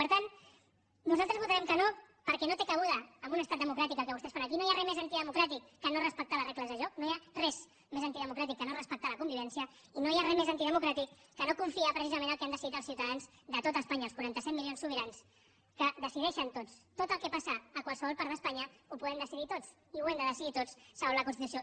per tant nosaltres votarem que no perquè no té cabuda en un estat democràtic el que vostès fan aquí no hi ha res més antidemocràtic que no respectar les regles del joc no hi ha res més antidemocràtic que no respectar la convivència i no hi ha res més antidemocràtic que no confiar precisament en el que han decidit els ciutadans de tot espanya els quaranta set milions sobirans que decideixen tots tot el que passa a qualsevol part d’espanya ho podem decidir tots i ho hem de decidir tots segons la constitució